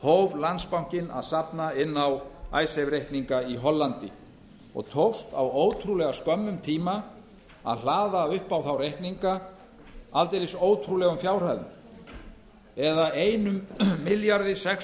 hóf landsbankinn að safna inn á reikninga í hollandi og tókst á ótrúlega skömmum tíma að hlaða upp á þá reikninga aldeilis ótrúlegum fjárhæðum eða einum milljarði sex